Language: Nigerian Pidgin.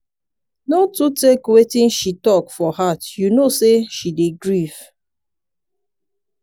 no too take wetin she talk for heart you know sey she dey grief.